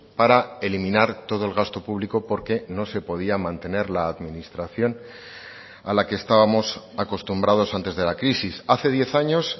para eliminar todo el gasto público porque no se podía mantener la administración a la que estábamos acostumbrados antes de la crisis hace diez años